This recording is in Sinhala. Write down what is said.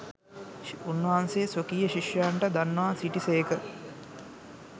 උන්වහන්සේ ස්වකීය ශිෂ්‍යයන්ට දන්වා සිටි සේක.